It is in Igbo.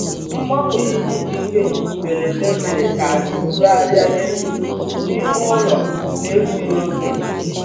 Mgbanwe ihu igwe mberede mere ka anyị bugharịa egwu n'ime ụlọ n'egbughị oge